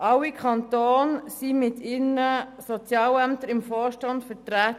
Alle Kantone sind mit ihren Sozialämtern im Vorstand vertreten.